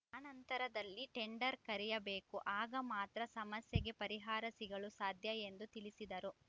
ಆನಂತರದಲ್ಲಿ tender ಕರೆಯಬೇಕು ಆಗ ಮಾತ್ರ ಸಮಸ್ಯೆಗೆ ಪರಿಹಾರ ಸಿಗಲು ಸಾಧ್ಯ ಎಂದು ತಿಳಿಸಿದರು